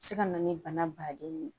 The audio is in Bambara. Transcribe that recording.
Se ka na ni bana baden ye